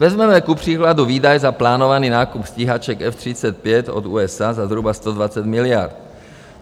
Vezmeme kupříkladu výdaj za plánovaný nákup stíhaček F-35 od USA za zhruba 120 miliard.